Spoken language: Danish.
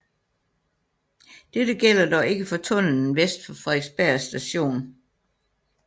Dette gælder dog ikke for tunnelen vest for Frederiksberg Station